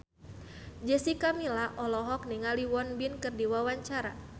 Jessica Milla olohok ningali Won Bin keur diwawancara